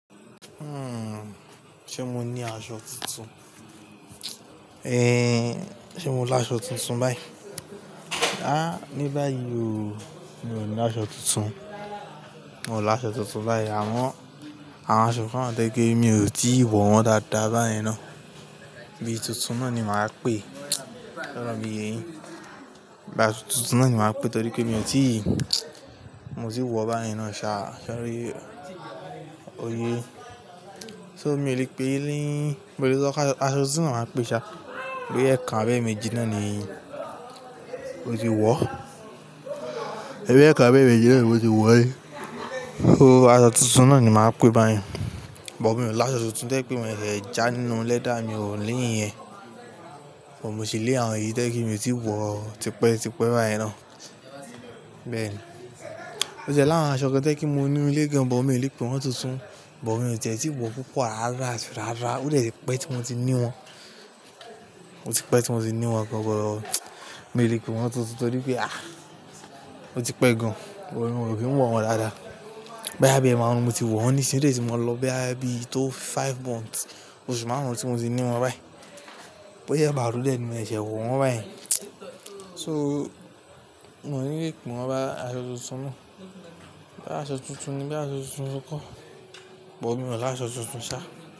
Hmm, ṣe mo ní aṣọ tuntun? Eh, ṣe mo lá aṣọ tuntun báyìí? Áà ní báyìí ò, mi ò ní aṣọ tuntun. Mi ò lá aṣọ tuntun báyìí àmọ́n, àwọn aṣọ kan wà tio jẹ́ wípé mi ò tíì wọ̀ wọ́n dáadáa báyẹn ná. Bíi tuntun náà ni màá pè, ṣọ̀rọ̀ mi yee yin? Tuntun náà ni màá pè torí pé mi ò tíì, mo tí wọ̀ báyẹn ná ni ṣáá, sé oyé. So mi ò lè pè é lé, mo lè sọ pé, aṣọ tuntun náà ni màá pè ṣáá. Bíi ẹ̀kan abẹ́ méjì náà ni mo ti wọ̀. Ẹbí ẹ̀kan abẹi eméjì náà ni mo ti wọ̀ rí. Irú aṣọ tuntun náà ni màá pè é báyẹn. Bọ̀ mi ò lá aṣọ tuntun tẹ́ pé mo lè jẹ́ ẹ́ já nínú lẹ́dà mi ò ní ìyẹn. Bọ̀ mo ṣì lé àwọn yìí tẹ́ kí mi ò tíì wọ̀ tipẹ́ tipẹ́ báyẹn ná. Bẹ́ẹ̀ ni. Ó jẹ́ láàrín àwọn aṣọ kan tẹ́ kí mo ni lé gan, bọ̀ mi ò lè pè wọ́n tuntun. Bọ̀ mi ò tie ti wọ̀ púpọ̀ rárá àti rárá. Ó dè ti pẹ́ tí mo ti ní wọ́n. Ó ti pẹ́ tí mo ti ní wọ́n gan-an but mi ò lè pè wọ́n tuntun torí pé ah, ó ti pẹ́ gan-an. Mi ò kí n wọ̀ wọ́n dáadáa. Báyìí a bí ẹ máa hun, mo ti wọ̀n nísinyìí tẹ́ tí mo lọ báyìí, bí i tó five months. Oṣù márùn-ún tí mo ti ní wọ́n báyìí. Bóyá emarun dè ni mo ṣe sẹ́ wọ̀ wọ́n báyẹn. So, mò ní lè pè wọ́n bóyá aṣọ tuntun náà. Bóyá aṣọ tuntun ni bóyá aṣọ tuntun ni kó. Bọ̀ mi ò lá aṣọ tuntun ṣáá.